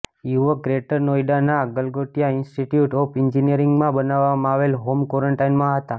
યુવક ગ્રેટર નોઈડાના Galgotia institute of એન્જિનિયરિંગમાં બનાવાવામાં આવેલા હોમ ક્વોરન્ટાઈનમાં હતો